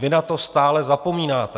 Vy na to stále zapomínáte!